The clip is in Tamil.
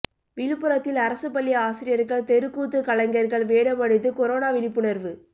விழுப்புரத்தில் அரசு பள்ளி ஆசிரியர்கள் தெருக்கூத்து கலைஞர்கள் வேடமணிந்து கொரோனா விழிப்புணர்வு